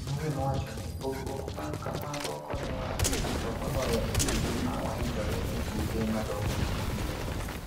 Munuhe nowachoni, "Pogruok ma kamago konyowa ahinya to moloyo e kinde ma waikore ne tuke madongo mag pinje mang'eny.